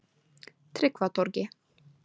Tryggvatorgi